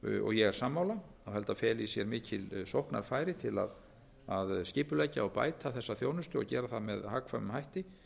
ég er sammála að þetta feli í sér mikil sóknarfæri til að skipuleggja og bæta þessa þjónustu og gera það með hagkvæmum hætti